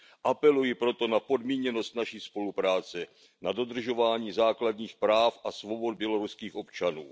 Apeluji proto na podmíněnost naší spolupráce, na dodržování základních práv a svobod běloruských občanů.